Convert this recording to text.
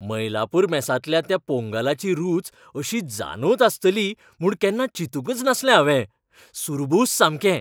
मईलापूर मेसांतल्या त्या पोंगलाची रूच अशी जानोत आसतली म्हूण केन्ना चिंतूंकच नाशिल्लें हांवें. सुरबूस सामकें!